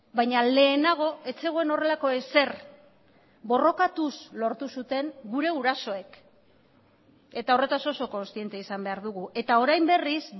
baina lehenago ez zegoen horrelako ezer borrokatuz lortu zuten gure gurasoek eta horretaz oso kontziente izan behar dugu eta orain berriz